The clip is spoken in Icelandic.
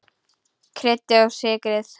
Kryddið og sykrið.